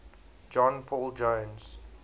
john paul jones